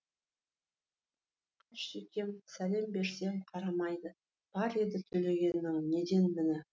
қаршекем сәлем берсем қарамайды бар еді төлегеннің неден міні